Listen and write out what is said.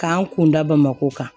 K'an kun da bamako kan